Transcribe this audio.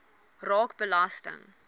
raak belasting